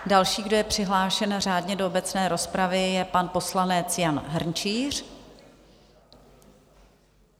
Další, kdo je přihlášen řádně do obecné rozpravy, je pan poslanec Jan Hrnčíř.